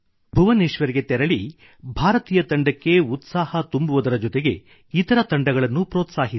ಭುವನೇಶ್ವರ್ ಗೆ ತೆರಳಿ ಕೇವಲ ಭಾರತೀಯ ತಂಡಕ್ಕೆ ಉತ್ಸಾಹ ತುಂಬುವುದರ ಜೊತೆಗೆ ಇತರ ತಂಡಗಳನ್ನೂ ಪ್ರೋತ್ಸಾಹಿಸಿ